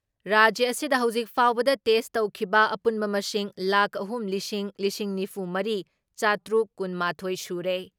ꯔꯥꯖ꯭ꯌ ꯑꯁꯤꯗ ꯍꯧꯖꯤꯛ ꯐꯥꯎꯕꯗ ꯇꯦꯁ ꯇꯧꯈꯤꯕ ꯑꯄꯨꯟꯕ ꯃꯁꯤꯡ ꯂꯥꯈ ꯑꯍꯨꯝ ꯂꯤꯁꯤꯡ ꯂꯤꯁꯤꯡ ꯅꯤꯐꯨ ꯃꯔꯤ ꯆꯥꯇ꯭ꯔꯨꯛ ꯀꯨꯟ ꯃꯥꯊꯣꯏ ꯁꯨꯔꯦ ꯫